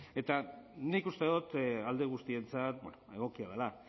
eta nik uste dot alde guztientzat egokia dela